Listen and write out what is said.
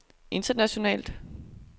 internationalt